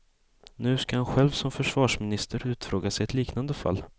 Nu ska han själv som försvarsminister utfrågas i ett liknande fall.